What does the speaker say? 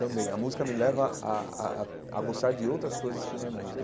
Também, a música me leva a a a a gostar de outras coisas que não é música.